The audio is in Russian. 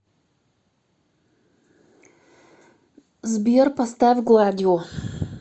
сбер поставь гладио